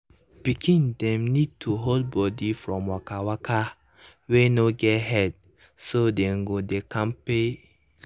pikin dem need hold body from waka waka wey no get head so dem go dey kampe.